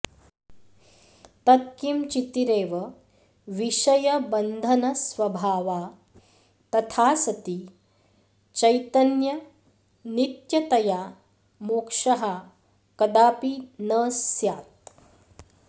तत् किं चितिरेव विषयबन्धनस्वभावा तथा सति चैत्यन्यनित्यतया मोक्षः कदापि न स्यात्